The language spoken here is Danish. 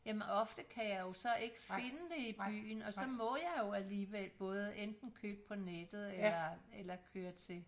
Jamen ofte kan jeg jo så ikke finde det i byen og så må jeg jo alligevel både enten finde på nettet eller eller køre til